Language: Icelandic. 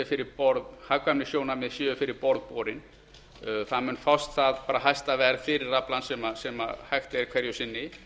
ræða að hagkvæmnissjónarmið séu fyrir borð borin það mun fást það hæsta verð fyrir aflann sem hægt er hverju sinni